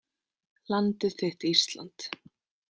Landið þitt Ísland